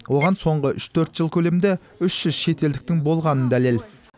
оған соңғы үш төрт жыл көлемінде үш жүз шетелдіктің болғаны дәлел